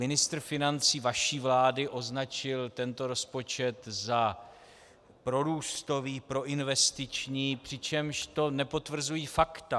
Ministr financí vaší vlády označil tento rozpočet za prorůstový, proinvestiční, přičemž to nepotvrzují fakta.